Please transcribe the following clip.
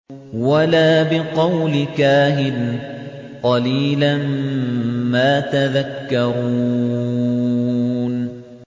وَلَا بِقَوْلِ كَاهِنٍ ۚ قَلِيلًا مَّا تَذَكَّرُونَ